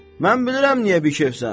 Mən bilirəm niyə bikefsən.